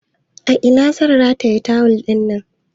A ina zan rataye tawul ɗina?